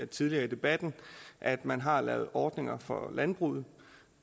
tidligere i debatten at man har lavet ordninger for landbruget